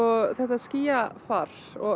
þetta skýjafar og